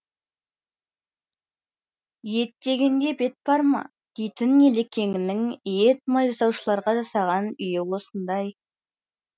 ет дегенде бет бар ма дейтін елекеңнің ет май жасаушыларға жасаған үйі осындай